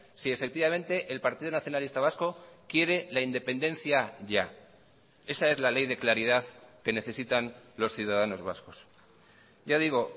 si efectivamente el partido nacionalista vasco quiere la independencia ya esa es la ley de claridad que necesitan los ciudadanos vascos ya digo